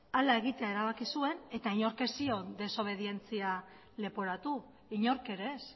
hala egitera erabaki zuen eta inork ez zion desobedientzia leporatu inork ere ez